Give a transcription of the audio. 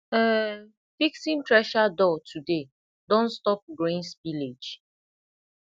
um fixing thresher door today don stop grain spillage